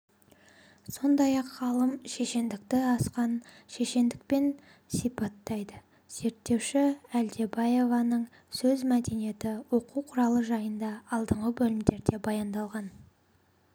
сондай-ақ ғалым шешендікті асқан шешендікпен сипаттайды зерттеуші әлкебаеваның сөз мәдениеті оқу құралы жайында алдыңғы бөлімдерде баяндалған